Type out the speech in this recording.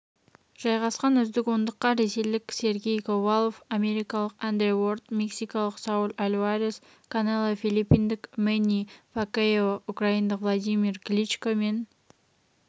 жайғасқан үздік ондыққа ресейліксергей ковалв америкалықандре уорд мексикалықсауль альварес канело филиппиндікмэнни пакьяо украиндықвладимир кличко мен